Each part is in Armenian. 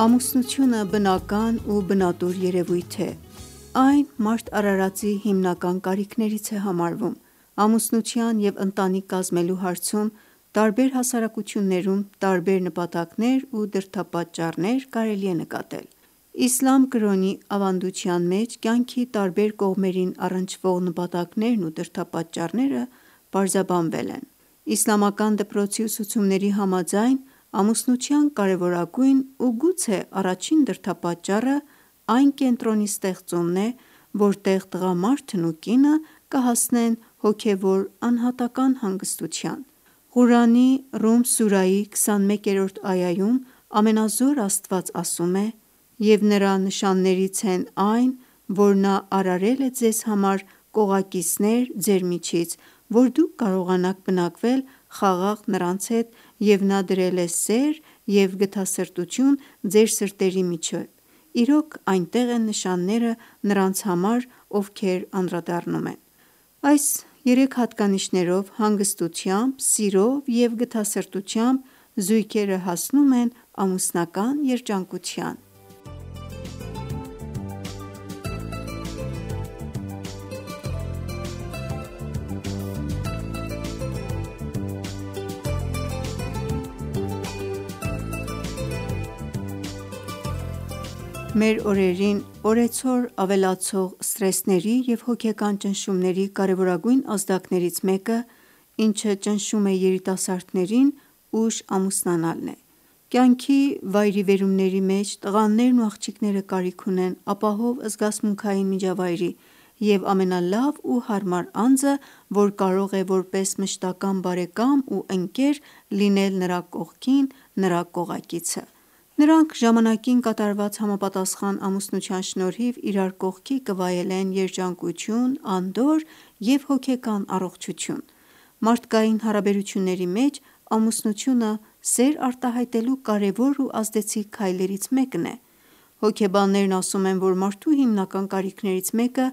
Ամուսնությունը բնական ու բնատուր երևույթ է: Այն մարդ արարածի հիմնական կարիքներից է համարվում: Ամուսնության և ընտանիք կազմելու հարցում տարբեր հասարակություններում տարբեր նպատակներ ու դրդապատճառներ կարելի է նկատել: Իսլամ կրոնում պարզաբանվել են կյանքի տարբեր կողմերին առնչվող նպատակներն ու դրդապատճառները: Իսլամական դպրոցի ուսուցումների համաձայն ամուսնության կարևորագույն ու գուցե առաջին դրդապատճառը այն կենտրոնի ստեղծումն է, որտեղ տղամարդն ու կինը կհասնեն հոգևոր անհատական հանգստության: Ղուրանի Ռում սուրայի 21-րդ այայում Ամենազոր Աստված ասում է.« «Եվ Նրա Նշաններից են այն, որ Նա արարել է ձեզ համար կողակիցներ ձեր միջից, որ դուք կարողանաք բնակվել խաղաղ նրանց հետ և Նա դրել է սեր և գթասրտություն ձեր սրտերի միջև, իրոք, այնտեղ են Նշանները նրանց համար, ովքեր անդրադառնում են», Այս երեք հատկանիշներով, հանգստությամբ, սիրով և գթասրտությամբ, զույգերը հասնում են ամուսնական երջանկության: Մեր օրերին օրեցօր ավելացող սթրեսների և հոգեկան ճնշումների կարևորագույն ազդակներից մեկը, ինչը ճնշում է երիտասարդներին, ուշ ամուսնանալն է: Կյանքի վերիվայրումների մեջ տղաներն ու աղջիկները կարիք ունեն ապահով զգացմունքային միջավայրի և ամենալավ ու հարմար անձը, որ կարող է որպես մշտական բարեկամ ու ընկեր լինել նրա կողքին կողակիցն է: Նրանք ժամանակին կատարված համապատասխան ամուսնության շնորհիվ իրար կողքի կվայելեն երջանկություն, անդորր և հոգեկան առողջություն: Մարդկային հարաբերությունների մեջ ամուսնությունը սեր արտահայտելու կարևոր ու ազդեցիկ քայլերից մեկն է: Հոգեբաններն ասում են, որ մարդու հիմնական կարիքներից մեկը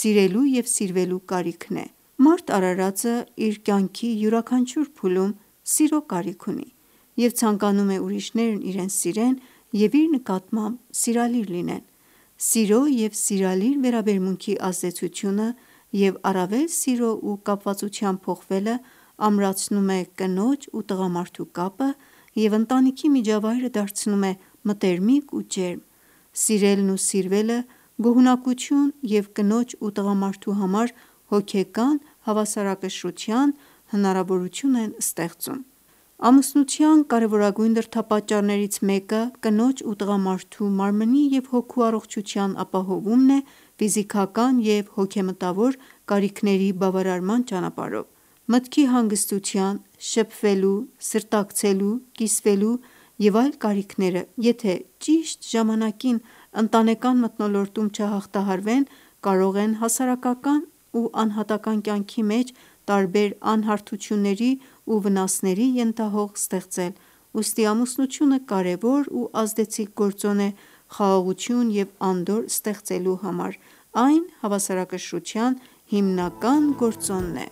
սիրելու և սիրվելու կարիքն է: Մարդ արարածը իր կյանքի յուրաքանչյուր փուլում սիրո կարիք ունի և ցանկանում է ուրիշները իրեն սիրեն և իր նկատմամբ սիրալիր լինեն: Սիրո և սիրալիր վերաբերմունքի ազդեցությունը և առավել սիրո ու կապվածության փոխվելը ամրացնում է կնոջ ու տղամարդու կապը և ընտանիքի միջավայրը դարձնում է մտերմիկ ու ջերմ: Սիրելն ու սիրվելը գոհունակություն և կնոջ ու տղամարդու համար հոգեկան հավասարակշռության հնարավորություն են ստեղծում: Ամուսնության կարևորագույն դրդապատճառներից մեկը կնոջ ու տղամարդու մարմնի և հոգու առողջության ապահովումն է՝ ֆիզիկական և հոգեմտավոր կարիքների բավարարման ճանապարհով: Մտքի հանգստության, շփվելու, սրտակցելու, կիսվելու և այլ կարիքները եթե ճիշտ ժամանակին ընտանեկան մթնոլորտում չհաղթահարվեն կարող են հասարակական ու անհատական կյանքի մեջ տարբեր անհարթությունների ու վնասների ենթահող պատրաստել, ուստի ամուսնությունը կարևոր ու ազդեցիկ գործոն է խաղաղություն և անդորր ստեղծելու համար: Այն հավասարակշռության հիմնական գործոնն է: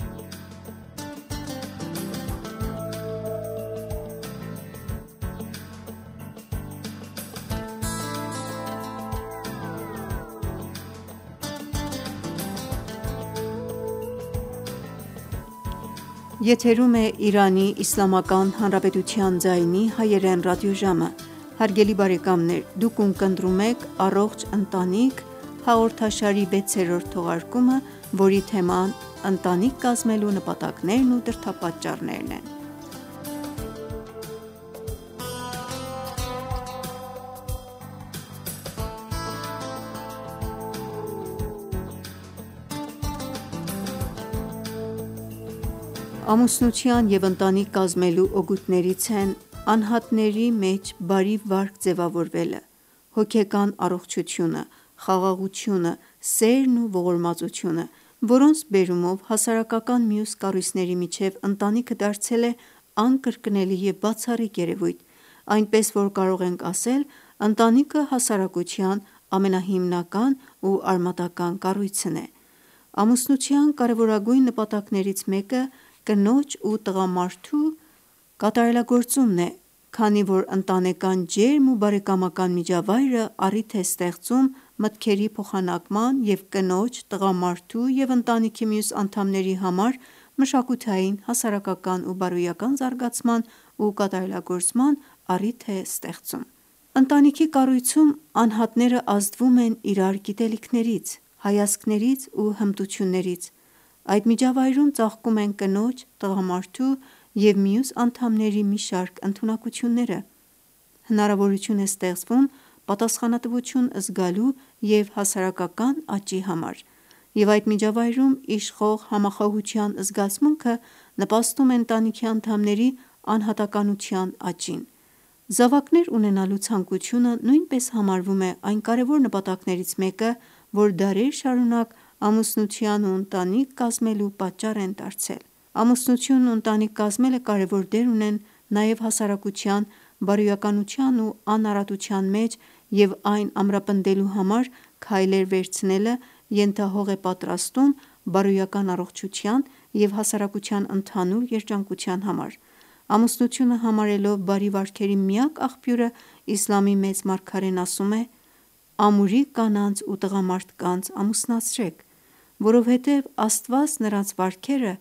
Ամուսնության ու ընտանիք կազմելու օգուտներից են՝ անհատների մեջ բարի վարք ձևավորելը, հոգեկան առողջությունը, խաղաղությունը, սերն ու ողորմածությունը, որոնց բերումով հասարակական մյուս կառույցների միջև ընտանիքը դարձել է անկրկնելի և բացառիկ երևույթ, այնպես որ կարող ենք ասել ընտանիքը հասարակության ամենահիմնական ու արմատական կառույցն է: Ամուսնության կարևորագույն նպատակներից մեկը կնոջ ու տղամարդու կատարելագործումն է, քանի որ ընտանեկան ջերմ ու բարեկամական միջավայրը առիթ է ստեղծում մտքերի փոխանակման և կնոջ, տղամարդու և ընտանիքի մյուս անդամների համար մշակութային, հասարակական ու բարոյական զարգացման ու կատարելագործման առիթ է ստեղծում: Ընտանիքի կառույցում, անհատները ազդվում են իրար գիտելիքներից, հայացքներից ու հմտություններից: Այդ միջավայրում ծաղկում են կնոջ, տղամարդու և մյուս անդամների մի շարք ընդունակությունները, հնարավորություն է ստեղծվում պատասխանատվություն զգալու և հասարակական աճի համար: Եվ այդ միջավայրում իշխող համախոհության զգացումը նպաստում է ընտանիքի անդամների անհատականության աճին: Զավակներ ունենալու ցանկությունը նույնպես համարվում է այն կարևոր նպատակներից մեկը, որ դարեր շարունակ ամուսնության ու ընտանիքների կազմության պատճառ է դարձել: Ամուսնությունն ու ընտանիք կազմելը կարևոր դեր ունեն նաև հասարակության բարոյականության ու անարատության մեջ և այն ամրապնդելու համար քայլեր վերցնելը ենթահող է պատրաստում բարոյական առողջության և հասարակության ընդհանուր երջանկության համար: Ամուսնությունը համարելով բարի վարքերի միակ աղբյուրը Իսլամի Մեծ մարգարեն ասում է.«Ամուրի կանանց ու տղամարդկանց ամուսնացրեք, որովհետև Աստված նրանց վարքերը